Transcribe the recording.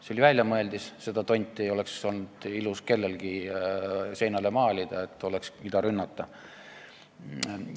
See oli väljamõeldis, seda tonti ei oleks olnud ilus kellelgi seinale maalida, et oleks, mida rünnata.